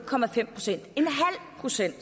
procent